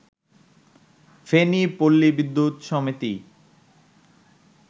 ফেনী পল্লী বিদ্যুৎ সমিতি